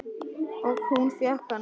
Og hún fékk hana.